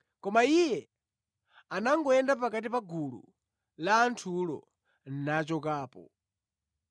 Koma Iye anangoyenda pakati pa gulu la anthulo nachokapo.